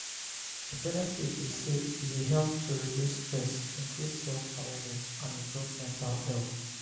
di benefit be say e dey help to reduce stress increase self-awareness and improve mental health.